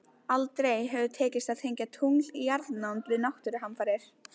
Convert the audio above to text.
Aldrei hefur tekist að tengja tungl í jarðnánd við náttúruhamfarir.